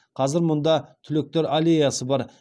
қазір мұнда түлектер аллеясы бар